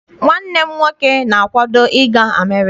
Nwanne m nwoke na-akwado I ga America.